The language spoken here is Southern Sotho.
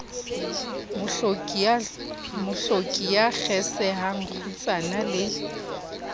mohloki ya kgesehang kgutsana le